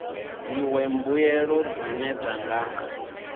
dziṅwe mbuelo dzine dza nga